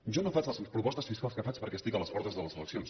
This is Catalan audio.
jo no faig les propostes fiscals que faig perquè estic a les portes de les eleccions